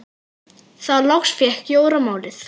Þá loks fékk Jóra málið.